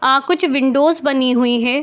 अअ कुछ विंडोस बनी हुई हैं।